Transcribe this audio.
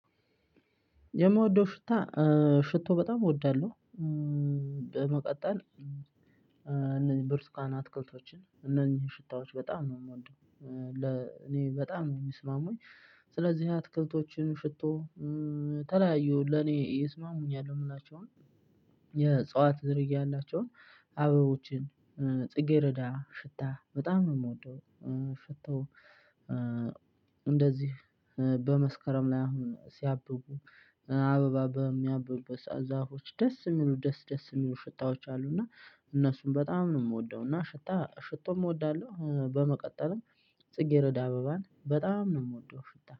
የምወደው ሽታ ሽቶ በጣም እወዳለሁ። በመቀጠል እነዚህ ብርቱካን አትክልቶችን እነዚህን ሺታዎች በጣም ነው የምወደው። ለእኔ በጣም ነው የምስማሙኝ። ስለዚህ አትክልቶችን ሺቶ። የተለያዩ ለኔ ይስማሙኛል የሚላቸውን። የአዕፅዋት ዝርያ ያላቸውን አበቦችን። ጽጌረዳ ሽታ በጣም ነው የምወደው። ሺታው። እንደዚህ በመስከረም ላይ አሁን ሲያብቡ አበባ በሚያብቡበት ሰዓት ዛፎች ደስ የሚሉ ደስ ደስ የሚሉ ሽታዎች አሉና። እነሱም በጣም ነው የምወደው። እና ሽታ ሽቶም እወዳለሁ በመቀጠልም። ጽጌረዳ አበባን በጣም ነው የምወደው ሽታ